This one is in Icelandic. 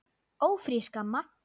Ófrísk, amma!